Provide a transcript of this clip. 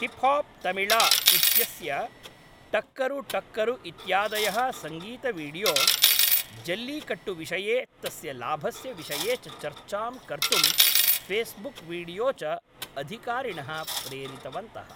Hip hop Tamizha इत्यस्य टक्करु टक्करु इत्यादयः सङ्गीतवीडियो, जल्लीकट्टुविषये तस्य लाभस्य विषये च चर्चां कर्तुं फ़ेस्बुक्वीडियो च अधिकारिणः प्रेरितवन्तः।